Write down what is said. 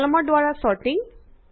কলমৰ দ্বাৰা ছৰ্টিং